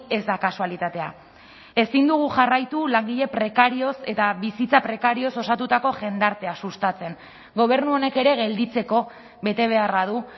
ez da kasualitatea ezin dugu jarraitu langile prekarioz eta bizitza prekarioz osatutako jendartea sustatzen gobernu honek ere gelditzeko betebeharra du